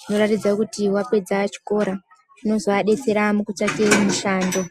zvinoratidza kuti wapedza chikora. Zvinozoadetsera mukutsvaka mushando.